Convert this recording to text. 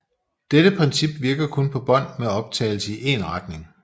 Dette princip virker kun på bånd med optagelse i en retning